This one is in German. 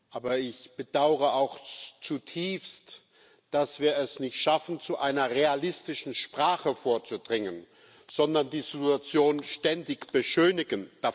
Aber ich bedaure auch zutiefst, dass wir es nicht schaffen, zu einer realistischen Sprache vorzudringen, sondern die Situation ständig beschönigen.